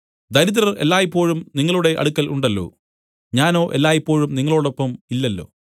ദരിദ്രർ എല്ലായ്പോഴും നിങ്ങളുടെ അടുക്കൽ ഉണ്ടല്ലോ ഞാനോ എല്ലായ്പോഴും നിങ്ങളോടൊപ്പം ഇല്ലല്ലോ